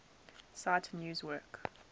cite news work